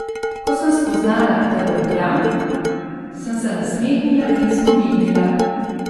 Ko sem spoznala, da brbljam, sem se nasmehnila in skomignila.